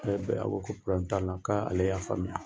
O yɔrɔ bɛ a ko ko probleme t'a la k'a ale y'a faamuya